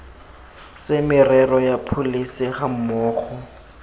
se merero ya pholesi gammogo